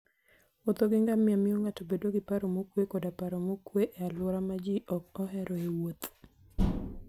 Wuotho gi ngamia miyo ng'ato bedo gi paro mokuwe koda paro mokuwe e alwora ma ji ok oheroe wuoth.